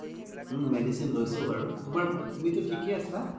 ওম medicine লৈছোঁ বাৰু তুমি টো ঠিকে আছা